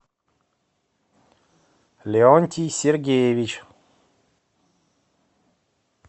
леонтий сергеевич